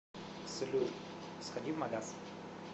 салют сходи в магаз